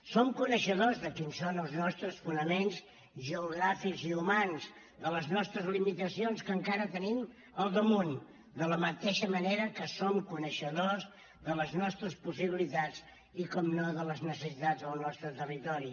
som coneixedors de quins són els nostres fonaments geogràfics i humans de les nostres limitacions que encara tenim al damunt de la mateixa manera que som coneixedors de les nostres possibilitats i naturalment de les necessitats del nostre territori